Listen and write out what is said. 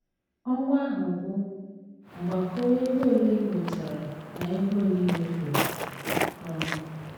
Ọnwa ahụ gwụ, gbakọọ ego ole i nwetara na ego ole i mefuru. um